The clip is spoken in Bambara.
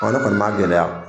Ɔ ne kɔni m'a gɛlɛya